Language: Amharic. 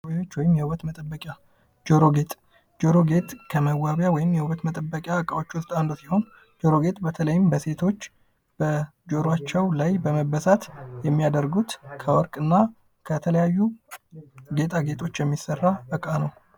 ጌትነት ከመዋቢያ ወይም የሁለት መጠበቂያ እቃዎች ውስጥ በተለይም በሴቶች በጆሮአቸው ላይ በመበተት የሚያደርጉት ከወርቅ እና ከተለያዩ ጌጣጌጦች የሚሰራ